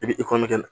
I bɛ